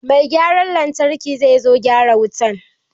Mai gyaran lantarki zai zo gyara wutan.